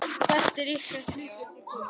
Hvert er ykkar hlutverk í kvöld?